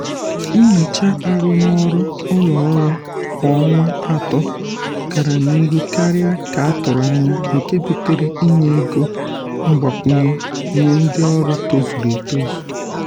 nnyocha arụmọrụ ụlọ ọrụ kwa ọnwa atọ gara n’ihu karịa ka atụrụ anya nke butere inye ego mgbakwunye nye ndị ọrụ tozuru etozu.